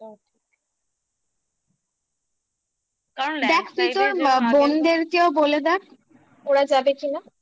কারণ এটা দেখ তুই তোর বোনদের কেউ বলে দেখ ওরা যাবে কিনা